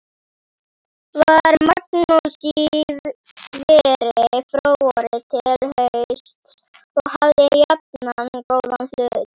Var Magnús í veri frá vori til hausts og hafði jafnan góðan hlut.